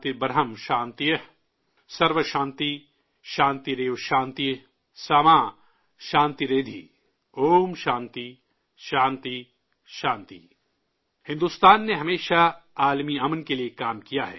بھارت نے ہمیشہ عالمی امن کے لیے کام کیا ہے